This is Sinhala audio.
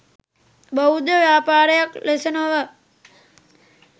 බෞද්ධ ව්‍යාපාරයක් ලෙස නොව